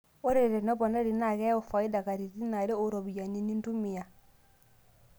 Ore teneponari naa keyau faida katitin are oo ropiyiani nintumia.